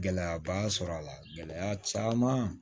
Gɛlɛyaba sɔrɔ a la gɛlɛya caman